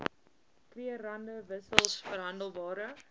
krugerrande wissels verhandelbare